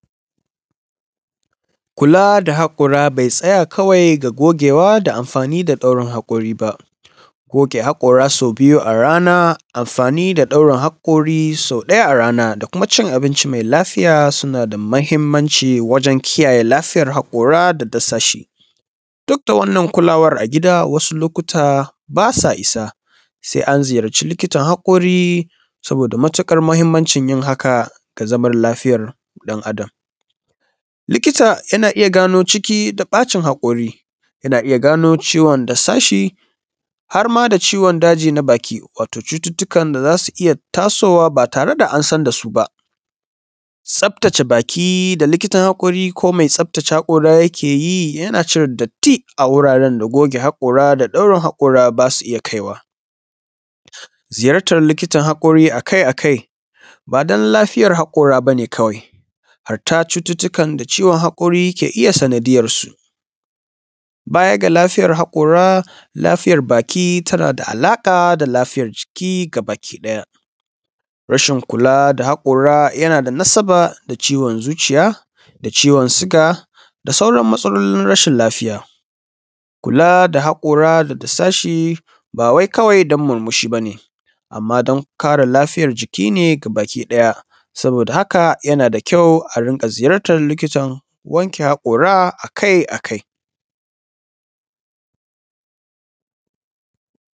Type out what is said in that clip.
Kula da hakuri bai tsaya kawai gogewa da da amfani da daurin hakori ba, guge hakora sau biyu a rana amfani da da hakori sau ɗaya a rana da cin abinci mai lafiya suna da mahimmaci wajen kiyayen lafiyar haƙora da dasashi. Duk da wannan kulawar a gida da wadu lokuta ba sa isa sai an zuyarcu likitan haƙori saboda matuƙar mahimmancin yin haka ga lafiyar dan Adam. Likita yana iya gano ciki da ɓacin haƙori ya gano ciwon dasashi har ma da ciwon daji na baki wato cututtukn da za su iya tasowa ba tare da an san da su ba. Tsaftace baki da likitan haƙori ko mai tsaftace haƙori yake yi uana cire datti a wuraren da goge hakora da daurin haƙora ba su iya kaiwa. Ziyartar likitan haƙori a kai a kai ba don lafiyar haƙori ba ne kawai, har ta cututtukan da ciwon haƙori yake iya sandiyarsu. Baya ga lafiyar hakora lafiyar baki tana da alaƙa da lafiyar jiki baki ɗaya. Rashin kula da haƙori yana da nasaba da ciwon zuciya da viwon siga da sauran matsalolin rashin lafiya. Kula da hakora da dasashi ba wainkawai don murmushi ba ne. Amma don kare lafiyar jiki ne gabaki ɗaya. Saboda haka yana da ƙyau a rika ziyarta wanke haƙora akai a kai.